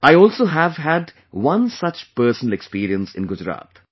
I also have had one such personal experience in Gujarat